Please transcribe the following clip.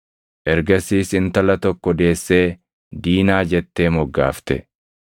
Ergasiis intala tokko deessee Diinaa jettee moggaafte.